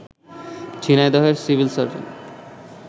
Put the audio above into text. ঝিনাইদহের civil surgeon